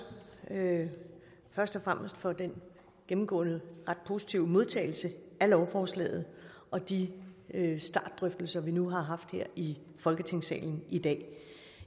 først og fremmest for den gennemgående ret positive modtagelse af lovforslaget og de startdrøftelser vi nu har haft her i folketingssalen i dag